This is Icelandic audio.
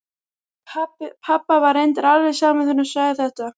Pabba var reyndar alveg sama þegar hún sagði þetta.